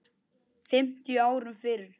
fimmtíu árum fyrr.